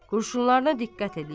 Qurşunlarına diqqət eləyir.